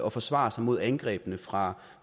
at forsvare sig mod angrebene fra